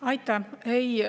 Aitäh!